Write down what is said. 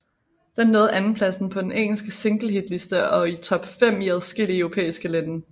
Den nåede andenpladsen på den engelske singlehitliste og i top fem i adskillige europæiske lande